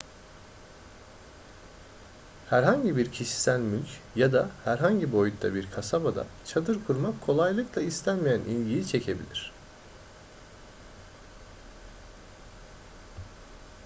herhangi bir kişisel mülk ya da herhangi boyutta bir kasabada çadır kurmak kolaylıkla istenmeyen ilgiyi çekebilir